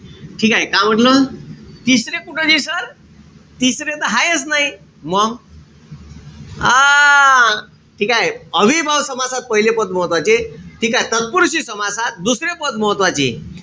ठीकेय? का म्हंटल? तिसरे कुठं दिसल? तिसरे त हायेच नाई. मंग? हां. ठीकेय? अव्ययीभाव समासात पहिले पद महत्वाचे. ठीकेय? तत्पुरुषी समासात दुसरे पद महत्वाचे.